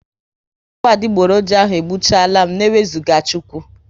Ọgwụ adigboroja ahụ egbuchalam n'ewuzaga Chukwu